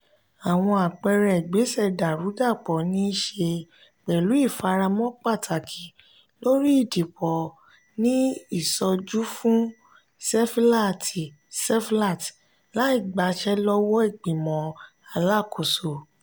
àwọn àpẹẹrẹ ìgbésẹ dàrúdàpọ̀ niiṣe pẹ̀lú ifaramọ́ pàtàkì lórí idipo ní ìsojúfún sefilaati seflat láì gbasẹ lọwọọ ìgbìmò alákòóso.